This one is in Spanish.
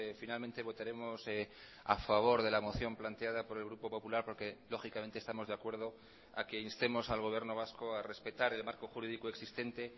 finalmente votaremos a favor de la moción planteada por el grupo popular porque lógicamente estamos de acuerdo a que instemos al gobierno vasco a respetar el marco jurídico existente